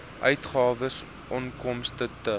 uitgawes onkoste t